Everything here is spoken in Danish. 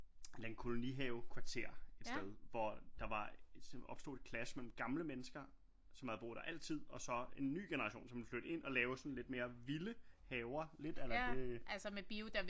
En eller anden kolonihavekvarter et sted hvor der var opstod et clash mellem gamle mennesker som havde boet der altid og så en ny generation som var flyttet ind og lavede sådan lidt mere vilde haver lidt a la det